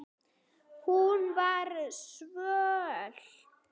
Hún var svöl.